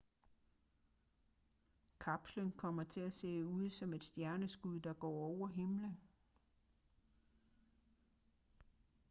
kapslen kommer til at se ud som et stjerneskud der går over himlen